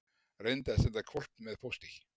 Reyndi að senda hvolp með pósti